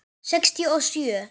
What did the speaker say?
Sextíu og sjö.